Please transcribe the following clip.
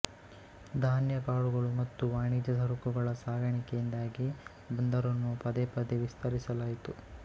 ಧಾನ್ಯಕಾಳುಗಳು ಮತ್ತು ವಾಣಿಜ್ಯ ಸರಕುಗಳ ಸಾಗಾಣಿಕೆಯಿಂದಾಗಿ ಬಂದರನ್ನು ಪದೇ ಪದೇ ವಿಸ್ತರಿಸಲಾಯಿತು